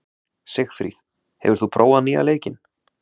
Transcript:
Sigfríð, hefur þú prófað nýja leikinn?